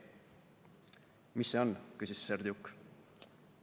"Mis see on," küsis Serdjuk.